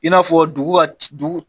I n'a fɔ dugu ka ci dugu